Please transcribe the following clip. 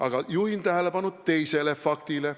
Aga ma juhin tähelepanu teisele faktile.